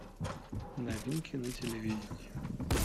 новинки на телевидении